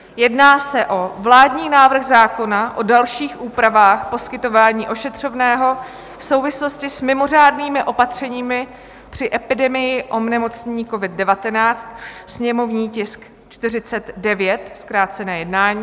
Jedná se o Vládní návrh zákona o dalších úpravách poskytování ošetřovného v souvislosti s mimořádnými opatřeními při epidemii onemocnění covid-19, sněmovní tisk 49 - zkrácené jednání;